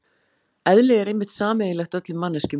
Eðli er einmitt sameiginlegt öllum manneskjum.